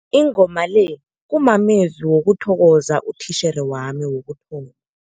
Ingoma le kumamezwi wokuthokoza utitjhere wami wokutho